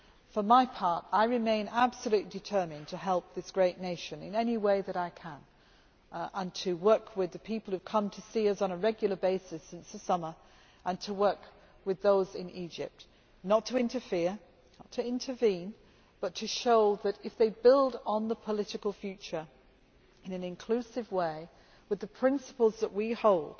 For my part, I remain absolutely determined to help this great nation in any way that I can and to work with the people who have come to see us on a regular basis since the summer and with those in Egypt not to interfere or to intervene, but to show that, if they build on the political future in an inclusive way with the principles that we hold,